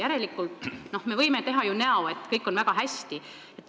Järelikult võime teha näo, et kõik on väga hästi.